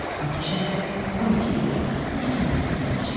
Bakı şəhəri, 12 iyun 2018-ci il.